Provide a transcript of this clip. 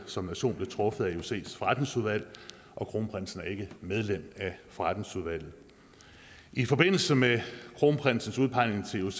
som nation blev truffet af iocs forretningsudvalg og kronprinsen er ikke medlem forretningsudvalget i forbindelse med kronprinsens udpegning til ioc